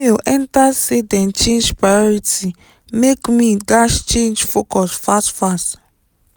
email enter say dem change priority make me dash change focus fast fast